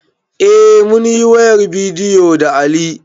Eh munyi wayar bidiyo da Ali